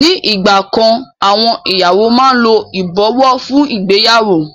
Ni ìgbà kan àwọn ìyàwó máa ń lo ìbọ̀wọ́ fún ìgbéyàwó.